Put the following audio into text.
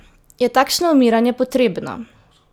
Je takšno umiranje potrebno?